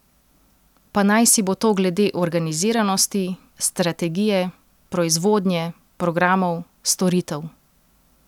Pa naj si bo to glede organiziranosti, strategije, proizvodnje, programov, storitev.